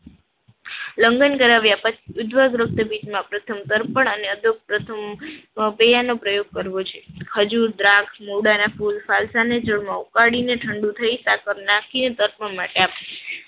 લંઘન કરાવ્યા પછી ઉજ્વળ ગૃપ્તપીટમાં પ્રથમ તર્પણ અને અદોપ અમ પ્રથમ પ્રેયા નો પ્રયોગ કરવો છે. ખજૂર, દ્રાક્ષ, મુળાના ફૂલ, ફલસાના જળમાં ઉકાડીને ઠંડુ થાય ને સાકર નાખીએ દર્પણમાં કાપ